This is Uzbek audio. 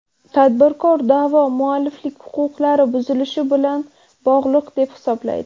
Tadbirkor da’vo mualliflik huquqlari buzilishi bilan bog‘liq deb hisoblaydi.